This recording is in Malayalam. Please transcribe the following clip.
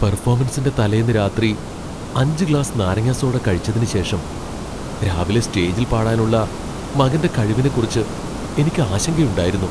പെർഫോമൻസിന്റെ തലേന്ന് രാത്രി അഞ്ച് ഗ്ലാസ് നാരങ്ങ സോഡ കഴിച്ചതിന് ശേഷം രാവിലെ സ്റ്റേജിൽ പാടാനുള്ള മകന്റെ കഴിവിനെക്കുറിച്ച് എനിക്ക് ആശങ്കയുണ്ടായിരുന്നു .